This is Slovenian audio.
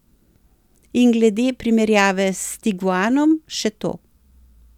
In glede primerjave s tiguanom še to.